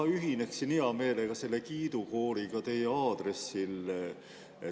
Ma ühinen hea meelega selle kiidukooriga teie aadressil.